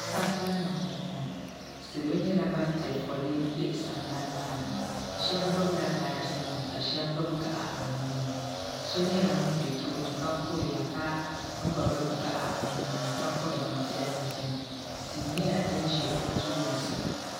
Sambani m boŋɔ salo nyɛla ban piɛ foli m be sanbani maani sheba gbibila baaji nima ka sheba gbibi gaɣa bɛ nuuni so nyɛla ŋun be tooni ka kuriya ka gbibi gaɣa o nuuni ka kuri bin piɛlli gbini tia nyɛla din ʒɛ o tooni sa.